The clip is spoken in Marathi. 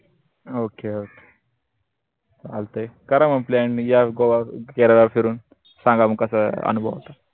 okok चालतंय करा म plan न या गोवा, केरळा फिरून सांगा म कसा अनुभव होता